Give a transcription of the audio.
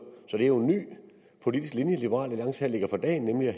så det er en ny politisk linje som liberal alliance her lægger for dagen nemlig at